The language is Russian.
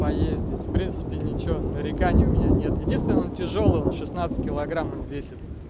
поездить в принципе ничего нареканий у меня нет единственное он тяжёлый он шестнадцать килограмм он весит